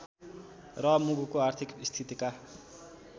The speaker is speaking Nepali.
र मुलुकको आर्थिक स्थितिका